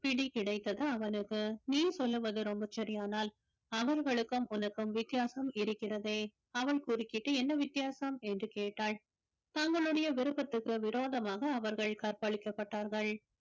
பிடி கிடைத்தது அவனுக்கு நீ சொல்லுவது ரொம்ப சரியானால் அவர்களுக்கும் உனக்கும் வித்தியாசம் இருக்கிறதே அவள் குறுக்கிட்டு என்ன வித்தியாசம் என்று கேட்டாள் தங்களுடைய விருப்பத்திற்கு விரோதமாக அவர்கள் கற்பழிக்கப்பட்டார்கள்